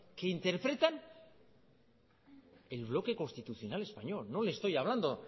que interpretan el bloque constitucional español no le estoy hablando